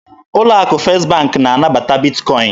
Ụlọ akụ First bank na-anabata Bitkọin